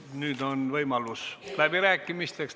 Nüüd on võimalus läbi rääkida.